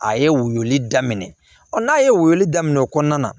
A ye woyo daminɛ ɔ n'a ye woyo daminɛ o kɔnɔna na